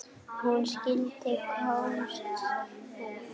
Hún skyldi komast út!